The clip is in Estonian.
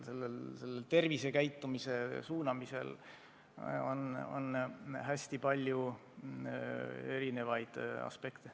Selles töös on hästi palju erinevaid aspekte.